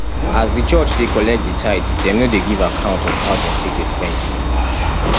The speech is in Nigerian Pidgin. as di church dey collect di tithe dem no dey give account of how dem take dey spend di money